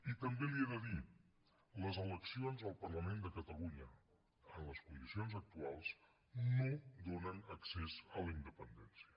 i també li he de dir les eleccions al parlament de catalunya en les condicions actuals no donen accés a la independència